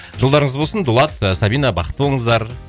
жолдарыңыз болсын дулат сабина бақытты болыңыздар